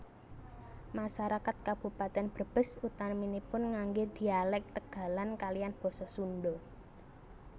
Masarakat Kabupatèn Brebes utaminipun nganggé dhialèk Tegalan kaliyan basa Sundha